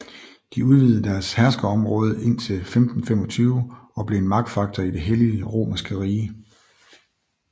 De udvidede deres herskerområde indtil 1525 og blev en magtfaktor i det hellige romerske rige